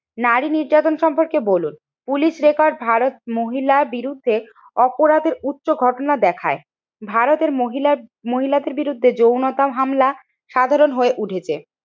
নারী নির্যাতন সম্পর্কে বলুন, পুলিশ রেকর্ড ভারত মহিলা বিরুদ্ধে অপরাধের উচ্চ ঘটনা দেখায়। ভারতের মহিলা মহিলাদের বিরুদ্ধে যৌনতার হামলা সাধারণ হয়ে উঠেছে।